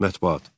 Mətbuat.